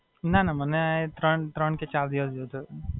ના, ના મને ત્રણ કે ચાર દિવસ જેવુ થયું.